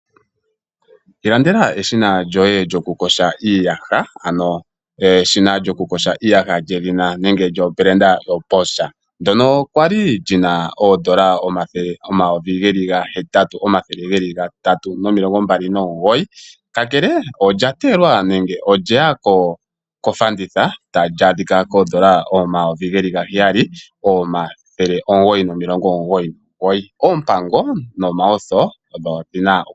Ilandela eshina lyoye lyoku kosha iiyaha, ano eshina lyoku kosha iiyaha lyedhina nenge lyobranda yoBoscha, ndyono kwali lina oondola omayovi gahetatu omathele geli gatatu nomilongo mbali nomugoyi . Ka kele olya teyelwa nenge olye ya kofanditha, tali adhika komayovi gaheyali omathele omugoyi nomilongo omugoyi nomugoyi. Oompango nomawutho odhina oku landulwa .